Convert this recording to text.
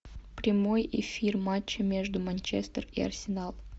прямой эфир матча между манчестер и арсенал